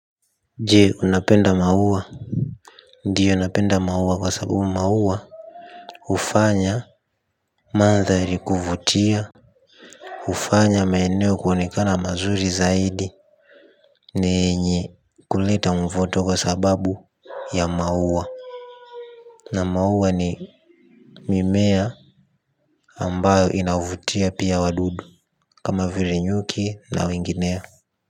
Je unapenda mauwa. Ndiyo napenda mauwa kwa sababu mauwa Ufanya Mandhari kuvutia. Ufanya maeneo kuonekana mazuri zaidi. Ni yenye kuleta mvuto kwa sababu ya mauwa. Na mauwa ni mimea ambayo inavutia pia wadudu kama vile nyuki na wengineo.